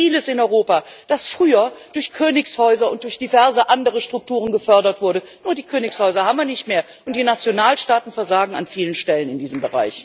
Wir haben vieles in Europa, das früher durch Königshäuser und durch diverse andere Strukturen gefördert wurde nur die Königshäuser haben wir nicht mehr, und die Nationalstaaten versagen an vielen Stellen in diesem Bereich.